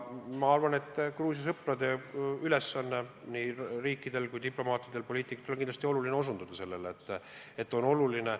Ma arvan, et Gruusia sõprade ülesanne, nii riikide kui diplomaatide ja poliitikute ülesanne on kindlasti sellele tähelepanu juhtida.